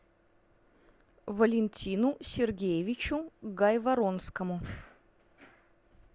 валентину сергеевичу гайворонскому